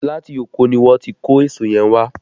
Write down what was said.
Láti oko ni wọ́n ti kó èso yẹn wá